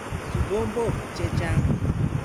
Kikombok che chang'.